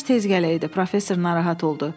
Kaş tez gələydi, professor narahat oldu.